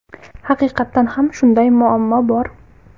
Haqiqatan ham shunday muammo bor.